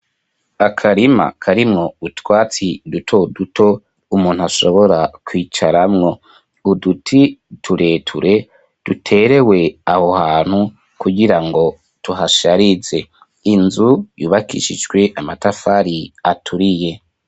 Akarima, karimwo utwatsi, duto duto, umuntu ashobora, kwicaramwo; uduti tureture, duterewe aho hantu, kugira ngo tuhasharize; inzu yubakishijwe amatafari, aturiye.